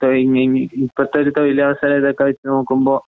ഇപ്പത്തൊരുതൊഴിലവസരഇതൊക്കെ വെച്ച്‌നോക്കുമ്പോ